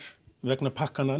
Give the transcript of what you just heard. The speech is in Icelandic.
vegna pakkanna